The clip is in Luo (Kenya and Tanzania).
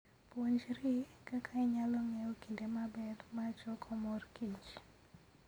Puonjri kaka inyalo ng'eyo kinde maber mar choko mor kich.